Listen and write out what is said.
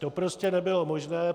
To prostě nebylo možné.